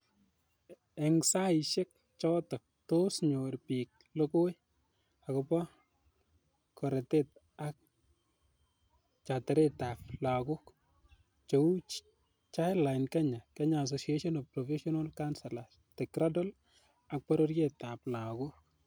Eng' saiisiek chootok, tos nyoor pik logooi akobo koretet alak chtareti lagook , cheuu Childline Kenya, Kenya saaociation of professional counselors, The Cradle ak bororyet ap lagook.